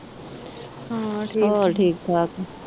ਹਾਂ ਠੀਕ ਹੋਰ ਠੀਕ ਠਾਕ